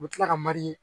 U bɛ tila ka mali